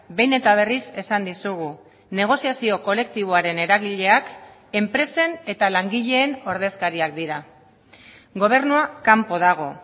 behin eta berriz esan dizugu negoziazio kolektiboaren eragileak enpresen eta langileen ordezkariak dira gobernua kanpo dago